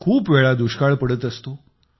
खूप वेळा दुष्काळ पडत असतो